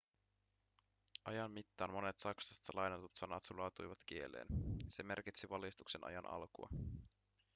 ajan mittaan monet saksasta lainatut sanat sulautuivat kieleen se merkitsi valistuksen ajan alkua